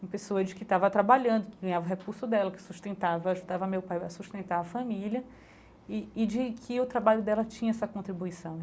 uma pessoa de que estava trabalhando, que ganhava o recurso dela, que sustentava ajudava meu pai a sustentar a família e e de que o trabalho dela tinha essa contribuição.